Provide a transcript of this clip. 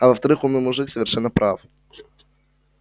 а во-вторых умный мужик совершенно прав